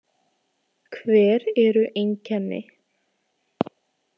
Hver eru einkenni.